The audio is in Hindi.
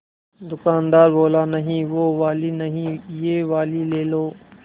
दुकानदार बोला नहीं वो वाली नहीं ये वाली ले लो